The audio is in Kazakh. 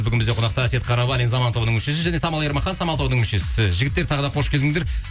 бүгін бізде қонақта әсет қарабалин заман тобының мүшесі және самал ермахан самал тобының мүшесі жігіттер тағы да қош келдіңдер